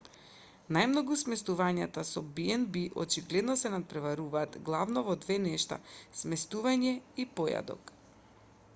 најмногу сместувањата со б&б очигледно се натпреваруваат главно во две нешта сместување и појадок